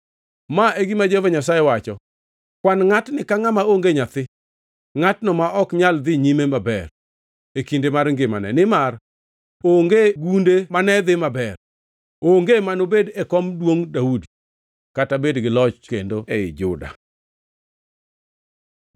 Ma e gima Jehova Nyasaye wacho: “Kwan ngʼatni ka ngʼama onge nyathi, ngʼatno ma ok nyal dhi nyime maber, e kinde mar ngimane, nimar onge gunde mane dhi maber, onge manobed e kom duongʼ Daudi, kata bed gi loch kendo ei Juda.”